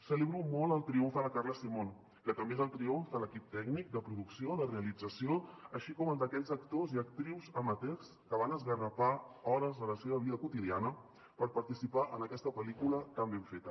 celebro molt el triomf de la carla simón que també és el triomf de l’equip tècnic de producció de realització així com el d’aquells actors i actrius amateurs que van esgarrapar hores de la seva vida quotidiana per participar en aquesta pel·lícula tan ben feta